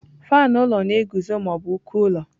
Faanụ ụlọ na-eguzo ma ọ bụ uko ụlọ.